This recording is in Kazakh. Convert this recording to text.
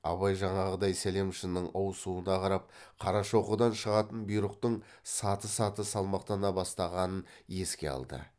абай жаңағыдай сәлемшінің ауысуына қарап қарашоқыдан шығатын бұйрықтың саты саты салмақтана бастағанын еске алды